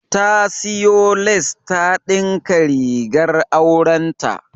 Ta siyo lace ta dinka rigar aurenta.